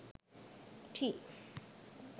tea